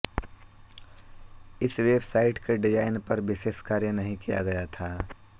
इस website के design पर विशेष कार्य नहीं किया गया था